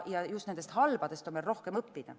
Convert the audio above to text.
Just nendest halbadest on meil rohkem õppida.